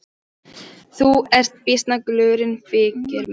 Þú ert býsna glúrin þykir mér.